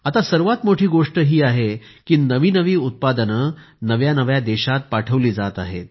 आता सर्वात मोठी गोष्ट ही आहे की नवी नवी उत्पादने नव्या नव्या देशांत पाठवली जात आहेत